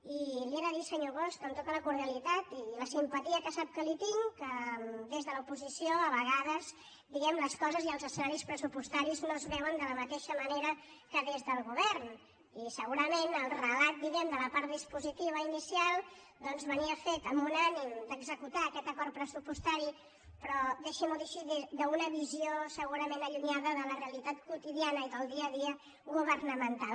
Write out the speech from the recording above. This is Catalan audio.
i li he de dir senyor bosch amb tota la cordialitat i la simpatia que sap que li tinc que des de l’oposició a vegades diguem les coses i els escenaris pressupostaris no es veuen de la mateixa manera que des del govern i segurament el relat de la part dispositiva inicial doncs venia fet amb un ànim d’executar aquest acord pressupostari però deixin m’ho dir així des d’una visió segurament allunyada de la realitat quotidiana i del dia a dia governamental